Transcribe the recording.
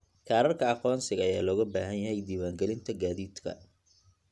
Kaararka aqoonsiga ayaa looga baahan yahay diiwaangelinta gaadiidka.